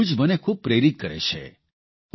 આ બધું જ મને ખૂબ પ્રેરિત કરે છે